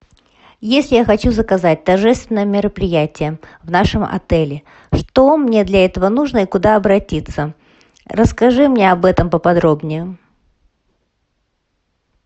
если я хочу заказать торжественное мероприятие в нашем отеле что мне для этого нужно и куда обратиться расскажи мне об этом поподробнее